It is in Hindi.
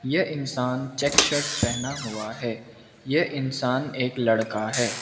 यह इंसान चेक शर्ट पहना हुआ है यह इंसान एक लड़का है।